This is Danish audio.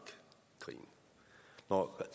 krigen når